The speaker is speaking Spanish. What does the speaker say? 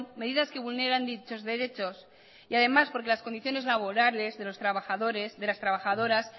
medidas que vulneran dichos derechos y además porque las condiciones laborales de los trabajadores de las trabajadoras